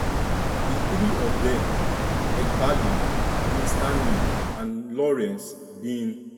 di three of dem eghbali winstanley and laurence bin